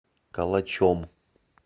калачом